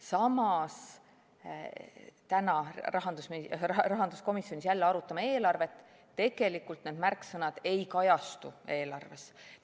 Samas – täna me rahanduskomisjonis jälle arutame eelarvet – need märksõnad ei kajastu tegelikult eelarves.